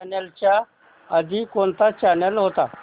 ह्या चॅनल च्या आधी कोणता चॅनल होता